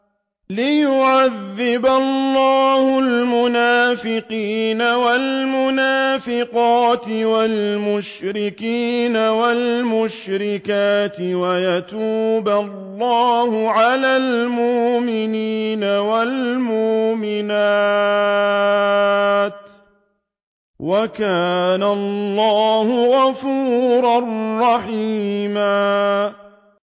لِّيُعَذِّبَ اللَّهُ الْمُنَافِقِينَ وَالْمُنَافِقَاتِ وَالْمُشْرِكِينَ وَالْمُشْرِكَاتِ وَيَتُوبَ اللَّهُ عَلَى الْمُؤْمِنِينَ وَالْمُؤْمِنَاتِ ۗ وَكَانَ اللَّهُ غَفُورًا رَّحِيمًا